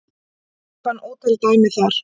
Ég fann ótal dæmi þar